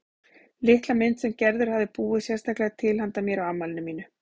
Litla mynd sem Gerður hafði búið sérstaklega til handa mér á afmælinu mínu.